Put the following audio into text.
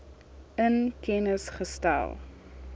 in kennis gestel